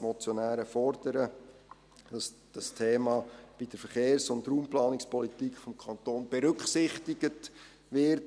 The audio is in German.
Die Motionäre fordern, dass dieses Thema in der Verkehrs- und Raumplanungspolitik des Kantons berücksichtigt wird.